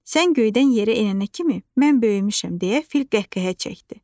Sən göydən yerə enənə kimi mən böyümüşəm deyə fil qəhqəhə çəkdi.